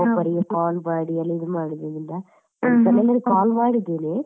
ಒಬ್ಬೊಬ್ಬರಿಗೆ call ಮಾಡಿ ಇದು ಮಾಡುವುದರಿಂದ. ಕೆಲವರಿಗೆ call ಮಾಡಿದ್ದೇನೆ